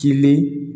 Kilenlen